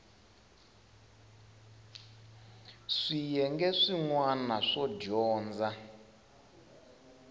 swiyenge swin wana swo dyondza